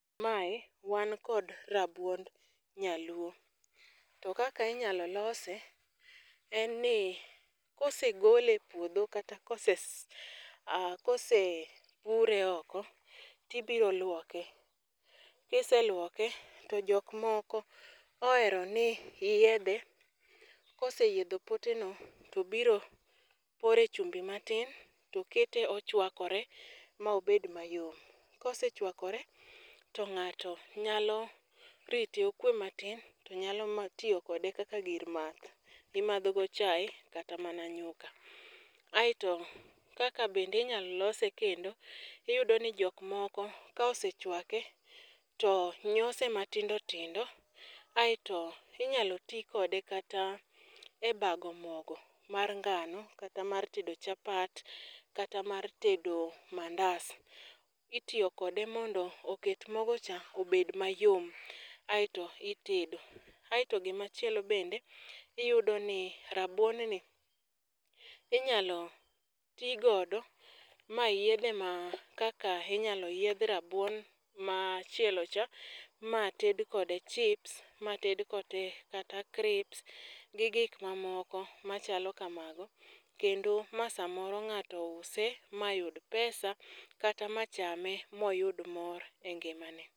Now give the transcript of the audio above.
Mae, wan kod rabuond nyaluo. To kaka inyalo lose, en ni kosegole e puodho kata kosepure oko, tibiro luoke. Kiseluoke , to jok moko ohero ni yiedhe, koseyiedho poteno, to biro pore chumbi matin, to kete ochwakore ma obed mayom. Kosechwakore, to ng'ato nyalo rite okwee matin, to nyalo tiyo kode kaka gir math mimadhogo chae kata mana nyuka. Aito, kaka bende inyalo lose kendo, iyudo ni jok moko ka osechwake, to nyose matindotindo , aito inyalo tii kode kata e bago mogo mar ngano, kata mar tedo chapat, kata mar tedo mandas. Itiyo kode mondo oket mogocha ,obed mayom aito itedo. Aito gima chielo bende , iyudo ni rabuonni, inyalo tii godo mayiedhe kaka inyalo yiedh rabuon machielocha, mated kode chips, mated kode kata crisps, gi gik mamoko machalo kamago, kendo ma samoro ng'ato use mayud pesa, kata machame moyud mor e ngimane.